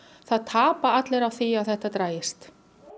það tapa allir á því að þetta dragist